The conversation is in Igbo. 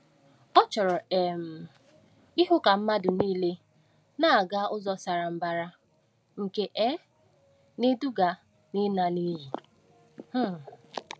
Ọ chọrọ um ịhụ ka mmadụ nile na-aga ụzọ sara mbara nke um na-eduga n’ịla n’iyi. um